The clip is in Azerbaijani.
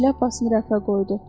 Şlyapasını rəfə qoydu.